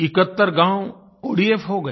71 गाँव ओडीएफ हो गए